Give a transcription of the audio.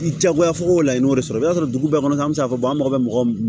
I diyagoyago la i y'o de sɔrɔ i bɛ taa sɔrɔ dugu bɛɛ kɔnɔ an bɛ se k'a fɔ an mako bɛ mɔgɔ min na